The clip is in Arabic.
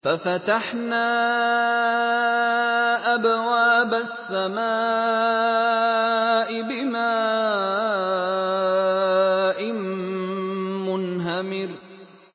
فَفَتَحْنَا أَبْوَابَ السَّمَاءِ بِمَاءٍ مُّنْهَمِرٍ